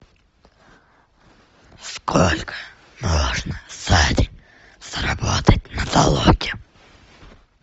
сколько можно за день заработать на толоке